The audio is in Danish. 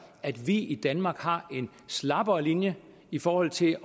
at vi i danmark har en slappere linje i forhold til